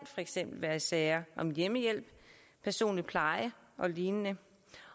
eksempel være i sager om hjemmehjælp personlig pleje og lignende